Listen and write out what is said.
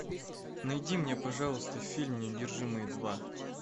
найди мне пожалуйста фильм неудержимые два